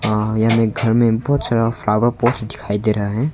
हां यह मे घर में बहुत सारा फ्लावर पोर्ट दिखाई दे रहा है।